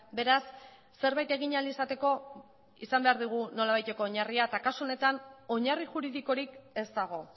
beraz zerbait egin ahal izateko izan behar dugu nolabaiteko oinarria eta kasu honetan oinarri juridikorik ez dago